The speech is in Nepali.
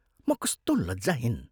म कस्तो लज्जाहीन?